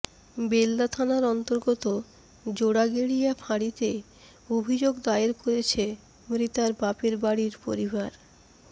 বেলদা থানার অন্তর্গত জোড়াগেড়িয়া ফাঁড়িতে অভিযোগ দায়ের করেছে মৃতার বাপের বাড়ির পরিবার